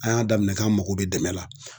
An y'a daminɛ k'an mago bɛ dɛmɛ la